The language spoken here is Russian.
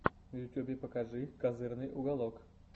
в ютьюбе покажи козырный уголок